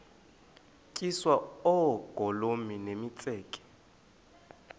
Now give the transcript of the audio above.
tyiswa oogolomi nemitseke